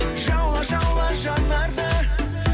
жаула жаула жанарды